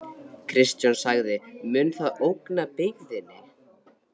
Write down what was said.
Kristján: Mun það ógna byggðinni?